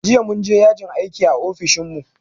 Jiya mun je yajin aiki a ofishin mu